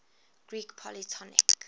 greek polytonic